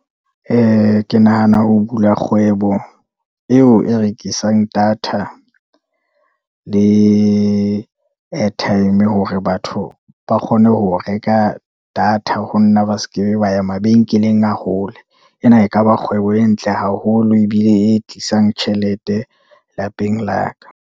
Ke nahana ho bula kgwebo eo e rekisang data le airtime, hore batho ba kgone ho reka data ho nna, ba sekebe ba ye mabenkeleng a hole, ena e kaba kgwebo e ntle haholo, ebile e tlisang tjhelete lapeng la ka.